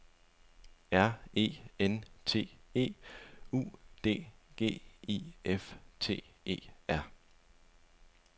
R E N T E U D G I F T E R